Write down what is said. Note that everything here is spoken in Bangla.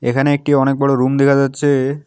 এখানে একটি অনেক বড়ো রুম দেখা যাচ্ছে।